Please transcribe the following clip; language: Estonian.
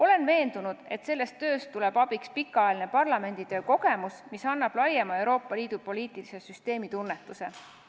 Olen veendunud, et selles töös tuleb abiks pikaajaline parlamenditöö kogemus, mis tagab ka laiema Euroopa Liidu poliitilise süsteemi tunnetuse.